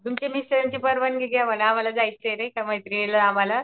तुमच्या मिस्टरांची परवानगी घ्या महान आम्हाला जायचंय नाहीका मैत्रिणिलान आम्हाला